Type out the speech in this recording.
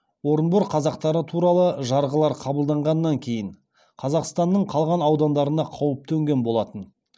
орынбор қазақтары туралы жарғылар қабылданғаннан кейін қазақстанның қалған аудандарына қауіп төнген болатын